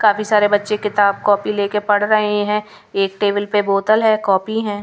काफी सारे बच्चे किताब कॉपी लेकर पढ़ रहे हैं एक टेबल पर बोतल है कॉपी है.